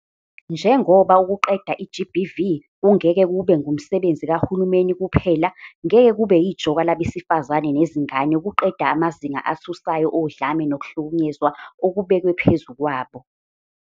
Njengoba ukuqeda i-GBV kungeke kube ngumsebenzi kahulumeni kuphela, ngeke kube yijoka labesifazane nezingane ukuqeda amazinga athusayo odlame nokuhlukunyezwa okubekwe phezu kwabo.